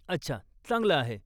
अच्छा, चांगलं आहे.